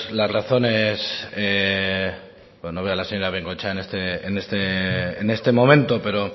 las razones pues no veo a la señora bengoechea en este momento pero